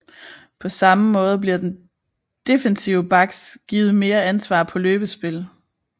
På samme måde bliver defensive backs givet mere ansvar på løbespil